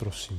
Prosím.